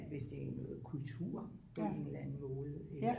Hvis det er noget kultur på en eller anden måde eller